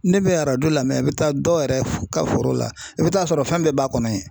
Ne bɛ arajo la mɛn i bɛ taa dɔw yɛrɛ ka foro la i bɛ taa sɔrɔ fɛn bɛɛ b'a kɔnɔ yen.